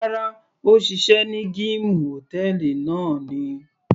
Rárá, òṣìṣẹ́ ní gíìmù hòtẹ́ẹ̀lì náà ni.